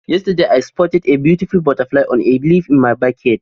Yesterday, I spotted a beautiful butterfly on a leaf in my backyard